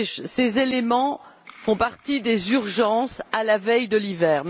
Ces éléments font partie des urgences à la veille de l'hiver.